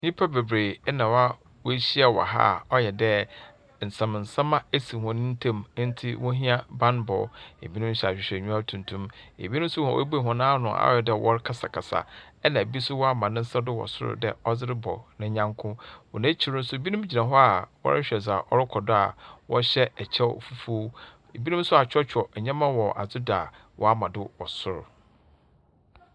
Nipa beberee ɛna wɔhyia ɛwɔ ha ɔyɛ de n'sɛm sɛm a esi wɔn ntem nti wohia banbɔ. Ebinom hyɛ ahwehwɛenyiwa tuntum, ebinom nso wɔn ebue wɔn ano ayɛdɛ wɔn kasa kasa ena ebi so wɔma wɔn nsa do wɔ soro te dɛ ɔrebɔ ne nyɔnko. Wɔ wɔn akyir nso, ebi nom gyina hɔ wɔrehwɛ dza ɔrekɔdo a wɔ hyɛ ɛkyɛ fufuw. Ebinom nso a kyerɛkyerɛ nneɛma ɔwɔ adzi do woama do wɔ soro.